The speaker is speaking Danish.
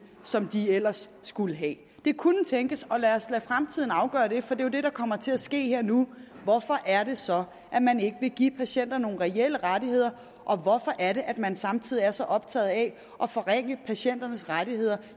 som de ellers skulle have det kunne tænkes og lad os lade fremtiden afgøre det for det er jo det der kommer til at ske her nu hvorfor er det så at man ikke vil give patienter nogen reelle rettigheder og hvorfor er det at man samtidig er så optaget af at forringe patienternes rettigheder